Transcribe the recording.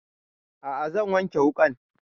A'a zan wanke wuƙan